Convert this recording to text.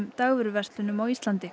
dagvöruverslana á Íslandi